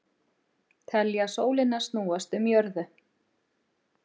Telja sólina snúast um jörðu